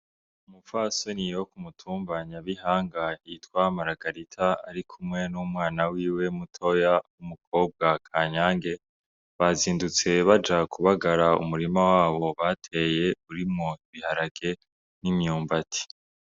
Umupfasoni wo ku mutumba Nyabihanga yitwa Maragarita arikumwe n'umwana wiwe mutoya w'umukobwa Kanyange, bazindutse baja kubagara umurima wabo bateye irimwo ibiharage n'imyumbati.